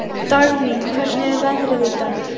Dagný, hvernig er veðrið í dag?